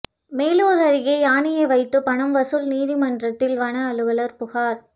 மேலூா் அருகே யானையை வைத்து பணம் வசூல் நீதிமன்றத்தில் வன அலுவலா் புகாா்